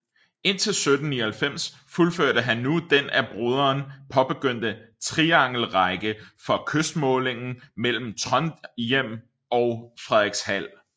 Indtil 1799 fuldførte han nu den af broderen påbegyndte triangelrække for kystmålingen mellem Trondhjem og Frederikshald